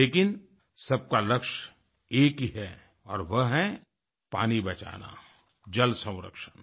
लेकिन सबका लक्ष्य एक ही है और वह है पानी बचाना जल संरक्षण